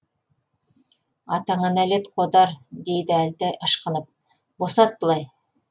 атаңа нәлет қодар дейді әлтай ышқынып босат былай